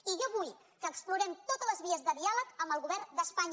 i jo vull que explorem totes les vies de diàleg amb el govern d’espanya